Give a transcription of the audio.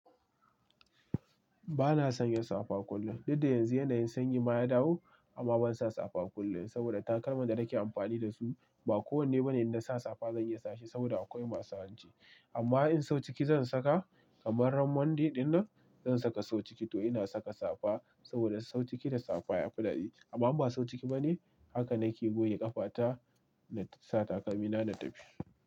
Ba na sanya safa kullum. Duk dda yanzu yanayin sanyi ma ya dawo amma ban sa safa kullum saboda takalman da nake amfani da su ba kowanne bane inda na sa safa zan iya sashi saboda akwai masu wanci. Amma in sau ciki zan saka kamar ran Monday dinnan zan saka sau ciki to ina saka safa saboda sau ciki da safa yafi dadi. Amma ba sau ciki bane haka nake goyi ƙafa ta na sa takalmi na, na tafi.